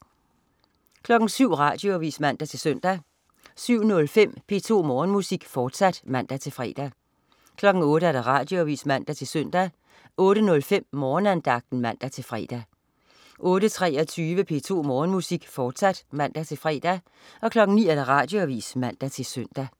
07.00 Radioavis (man-søn) 07.05 P2 Morgenmusik, fortsat (man-fre) 08.00 Radioavis (man-søn) 08.05 Morgenandagten (man-fre) 08.23 P2 Morgenmusik, fortsat (man-fre) 09.00 Radioavis (man-søn)